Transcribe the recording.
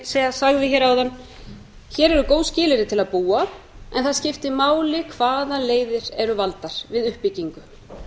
hér áðan hér eru góð skilyrði til að búa en það skiptir máli hvaða leiðir eru valdar við uppbyggingu